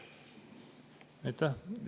Aitäh!